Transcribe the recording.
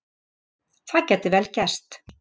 Það gæti vel gerst